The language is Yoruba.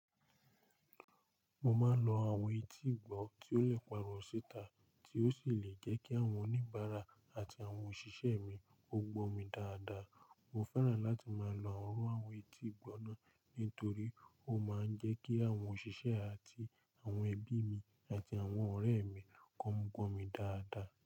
Mo máa ń lo àwọn etí ìgbọ́ tí ó le pààrọ̀ síta, tí ó sì le jẹ́ kí àwọn oníbàárà àti àwọn òṣìṣẹ́ mi ó gbọ́ mi dáadáa. Mo fẹ́ràn láti máa lo àwọn iru àwọn etí ìgbọ́ náà, nítorí ó máa ń jẹ́ kí àwọn òṣìṣẹ́ àti àwọn ẹbí mi àti àwọn ọ̀rẹ́ mi kó ń gbọ́ mi dáadáa.